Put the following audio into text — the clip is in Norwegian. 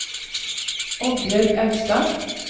Oddbjørg Austad